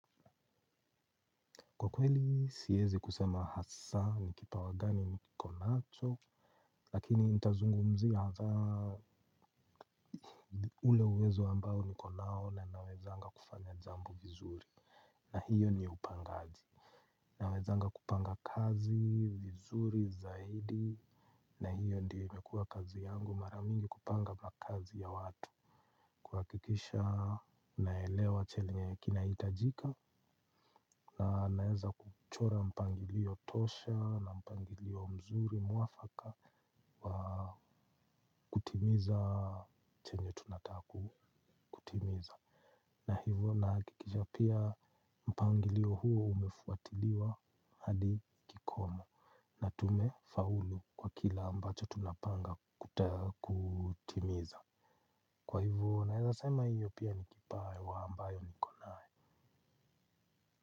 Kwa kweli siyezi kusema hasa ni kipa wa gani niko nacho. Lakini ntazungumziya hazaa. Ule uwezo ambao nikonao na nawezanga kufanya jambo vizuri. Na hiyo ni upangaji. Na wezanga kupanga kazi vizuri zaidi. Na hiyo ndiyo imekuwa kazi yangu mara mingi kupanga mla kazi ya watu. Kwa kikisha naelewa chenye kinahitajika. Na naeza kuchora mpangilio tosha na mpangilio mzuri mwafaka wa kutimiza. Chenye tunataka kutimiza na hivo nahikikisha pia mpangilio huu umefuatiliwa hadi kikomo. Na tumefaulu kwa kila ambacho tunapanga kutimiza. Kwa hivyo naeza sema hiyo pia ni kipawa ambayo nikonayo.